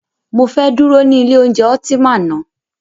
Mọ fẹ́ dúró ní ilé oúnjẹ Ultima ná.